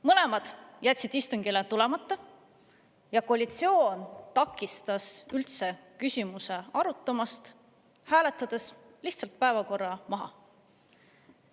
Mõlemad jätsid istungile tulemata ja koalitsioon takistas üldse küsimuse arutamist, hääletades lihtsalt päevakorra maha.